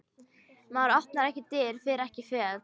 Maður opnar ekki dyr, fer ekki fet.